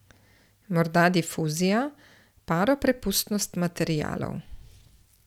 Morda difuzija, paroprepustnost materialov.